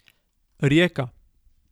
Rijeka!